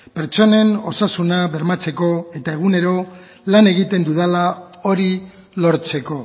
pertsonen osasuna bermatzeko eta egunero lan egiten dudala hori lortzeko